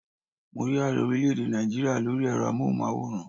Mo rí ààrẹ orílẹ̀ èdè Náìjíríà lórí ẹ̀rọ amóhùnmáwòrán